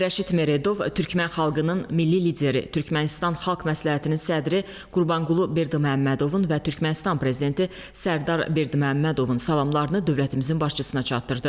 Rəşid Meredov Türkmən xalqının milli lideri, Türkmənistan xalq məsləhətinin sədri Qurbanqulu Berdiməhəmmədovun və Türkmənistan prezidenti Sərdar Berdiməhəmmədovun salamlarını dövlətimizin başçısına çatdırdı.